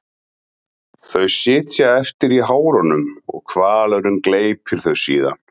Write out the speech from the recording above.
Þau sitja eftir í hárunum og hvalurinn gleypir þau síðan.